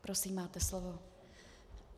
Prosím, máte slovo.